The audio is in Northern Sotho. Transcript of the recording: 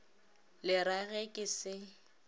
le ra ge ke se